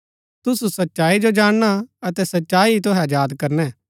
तुसु सच्चाई जो जाणना अतै सच्चाई ही तूहै अजाद करणै